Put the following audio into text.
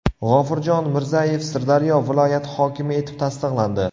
G‘ofurjon Mirzayev Sirdaryo viloyati hokimi etib tasdiqlandi.